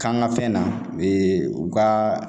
K'an ka fɛn na u ka